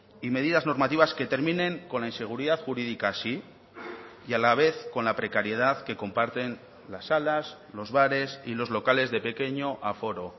y medidas normativas que terminen con la inseguridad jurídica sí y a la vez con la precariedad que comparten las salas los bares y los locales de pequeño aforo